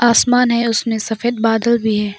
आसमान है उसमें सफेद बादल भी है।